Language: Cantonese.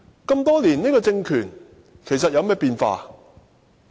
經歷多年，這個政權其實有何變化？